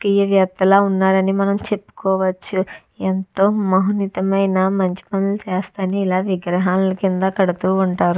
ఏం చేస్తున్నావ్ అని మనం చెప్పుకోవచ్చు ఎంతో మహనితమైన మంచి పనులు చేస్తా అని ఇలా విగ్రహాలు కింద కడుతూ ఉంటారు.